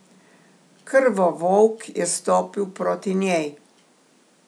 Krvovolk je stopil proti njej.